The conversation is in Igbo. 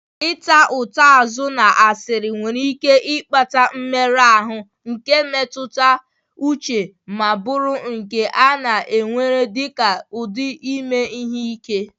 Ịta ụta azụ na asịrị nwere ike ịkpata mmerụ ahụ nke mmetụta uche ma bụrụ nke a na-ewere dịka ụdị ime ihe ike